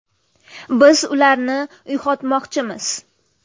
Biz ularni uyg‘otmoqchimiz.